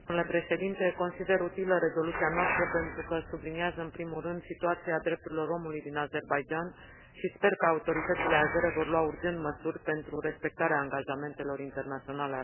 Consider utilă rezoluția noastră pentru că subliniază, în primul rând, situația drepturilor omului din Azerbaidjan și sper că autoritățile azere vor lua urgent măsuri pentru respectarea angajamentelor internaționale asumate.